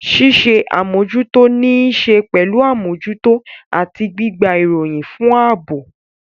Ṣíṣe àmójútó ní í ṣe pẹ̀lú àmójútó àti gbígba ìròyìn fún ààbò.